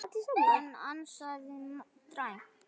Hann ansaði dræmt.